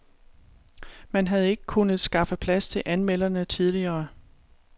Man havde ikke kunnet skaffe plads til anmelderne tidligere.